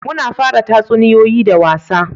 Muna fara tatsuniyoyi da wasa